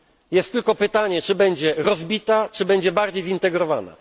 Jest tylko pytanie, czy będzie rozbita czy też bardziej zintegrowana.